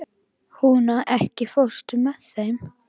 Húna, ekki fórstu með þeim?